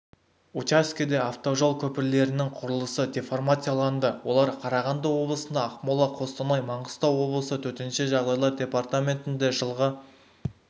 учаскеде автожол көпірлерінің құрылысы деформацияланды олар қарағанды облысында ақмола қостанай маңғыстау облысы төтенше жағдайлар департаментінде жылғы